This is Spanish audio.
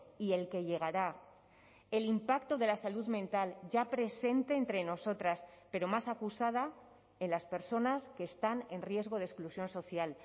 y el que llegará el impacto de la salud mental ya presente entre nosotras pero más acusada en las personas que están en riesgo de exclusión social